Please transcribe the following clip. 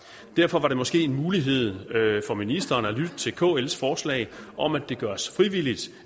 derfor var det måske en mulighed for ministeren at lytte til kls forslag om at det gøres frivilligt